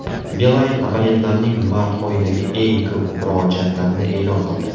Beeline abonentlarning mart oyidagi eng ko‘p murojaatlarini e’lon qildi.